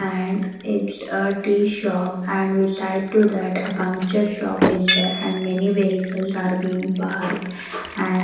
And it's a tea shop and beside to that a puncture shop is there and many vehicles are being parked and --